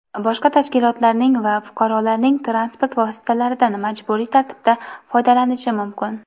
boshqa tashkilotlarning va fuqarolarning transport vositalaridan majburiy tartibda foydalanishi mumkin;.